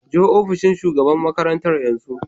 Je opishin shugaban makaranta yanzu.